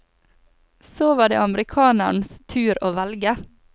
Så var det amerikanerens tur å velge.